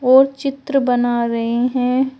और चित्र बना रहे हैं।